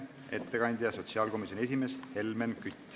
Ettekandja on sotsiaalkomisjoni esimees Helmen Kütt.